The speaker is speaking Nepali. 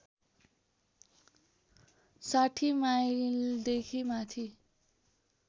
६० माइलदेखि माथि